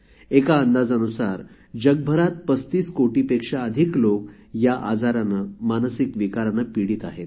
एका अंदाजानुसार जगभरात 35 कोटीपेक्षा अधिक लोक या आजाराने मानसिक विकाराने पिडीत आहेत